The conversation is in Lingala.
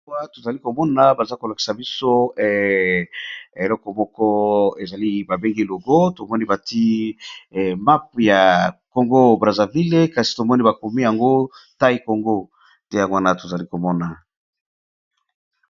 Awa to zali ko mona baza ko lakisa biso eleko moko ezali ba bengi logo to moni ba tié mape ya Congo Brazzaville, kasi to moni ba komi yango Itie Congo . Nde yango wana to zali ko mona .